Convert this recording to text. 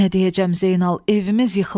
Nə deyəcəm Zeynal, evimiz yıxılıb.